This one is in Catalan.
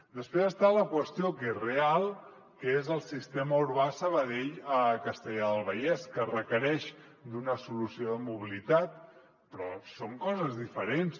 després hi ha la qüestió que és real que és el sistema urbà sabadell castellar del vallès que requereix una solució de mobilitat però són coses diferents